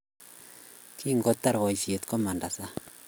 Kingotar boisiet, komanda sang